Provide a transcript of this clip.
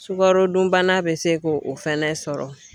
Sukarodunbana bɛ se k'o fɛnɛ sɔrɔ.